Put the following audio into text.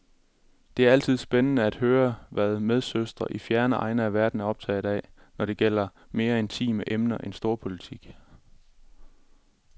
Det er altid spændende at høre, hvad medsøstre i fjerne egne af verden er optaget af, når det gælder mere intime emner end storpolitik.